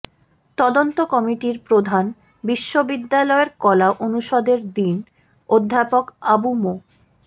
তদন্ত কমিটির প্রধান বিশ্ববিদ্যালয়ের কলা অনুষদের ডিন অধ্যাপক আবু মো